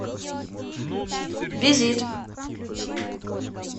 визит